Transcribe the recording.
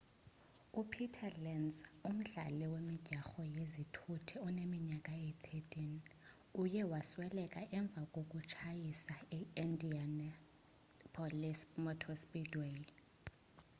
upeter lenz umdlali wemidyarho yezithuthu oneminyaka eyi-13 uye wasweleka emva kokutshayisa e-indianapolis motor speedway